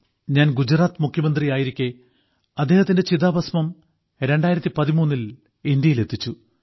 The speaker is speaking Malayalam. ഞാൻ ഗുജറാത്ത് മുഖ്യമന്ത്രിയായിരിക്കെ അദ്ദേഹത്തിന്റെ ചിതാഭസ്മം 2013ൽ ഇന്ത്യയിലെത്തിച്ചു